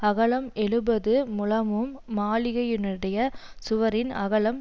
அகலம் எழுபது முழமும் மாளிகையினுடைய சுவரின் அகலம்